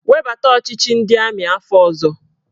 Webata ọchịchị ndị amị afọ ọzọ!